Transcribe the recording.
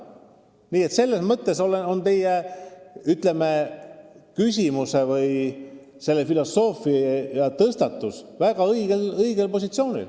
Nii et selles mõttes on teie, ütleme, küsimuse- või filosoofiatõstatus väga õigel positsioonil.